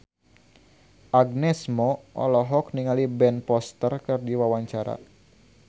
Agnes Mo olohok ningali Ben Foster keur diwawancara